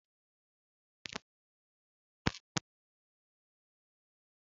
Achọrọ m ọtụtụ ose na yabasị na Nụ́dúls m